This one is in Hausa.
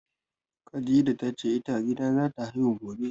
Khadija ta ce ita a gida zata haihuwa gobe